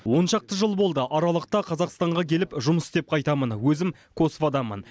он шақты жыл болды аралықта қазақстанға келіп жұмыс істеп қайтамын өзім косваданмын